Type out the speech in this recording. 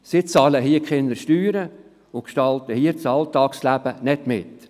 Sie bezahlen hier keine Steuern und gestalten hier das Alltagsleben nicht mit.